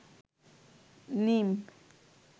নীম